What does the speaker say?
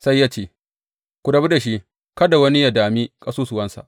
Sai ya ce, Ku rabu da shi, kada wani yă dami ƙasusuwansa.